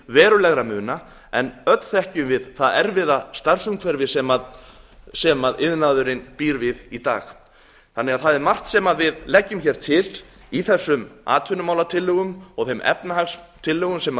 verulegra muna en öll þekkjum við það erfiða starfsumhverfi sem iðnaðurinn býr við í dag það er margt sem við leggjum til í þessum atvinnumálatillögum og þeim efnahagstillögum sem